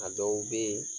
A dɔw bɛ yen